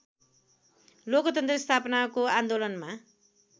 लोकतन्त्र स्थापनाको आन्दोलनमा